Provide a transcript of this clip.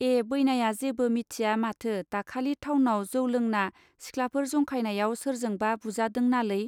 ए बैनाया जेबो मिथिया माथो दाखालि थावनाव जौ लोंना सिख्लाफोर जंखायनायाव सोरजोंबा बुजादोंनालै!.